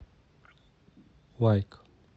лайк